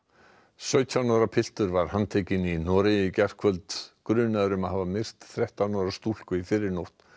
sautján ára piltur var handtekinn í Noregi í gærkvöld grunaður um að hafa myrt þrettán ára stúlku í fyrrinótt